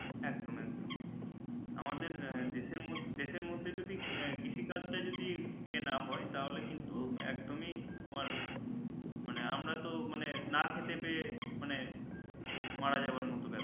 একদম একদম আমাদের দেশের মধ্যে যদি কৃষিকাজ টা যদি ইয়ে না হয় তাহলে কিন্তু একদমই মানে আমরা তো না খেতে পেয়ে মানে মারা যাবো এর মতো ব্যাপার